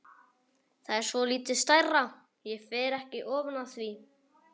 Það er svolítið stærra, ég fer ekki ofan af því!